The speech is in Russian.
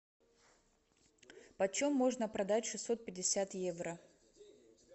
почем можно продать шестьсот пятьдесят евро